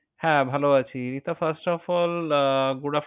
হ্যাঁ ভালও আছি। Rita first of all ah Good Aft~